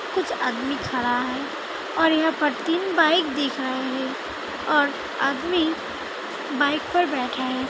कुछ आदमी खड़ा है और यहां पर तीन बाइक दिख रहा है और आदमी बाइक पर बैठा है |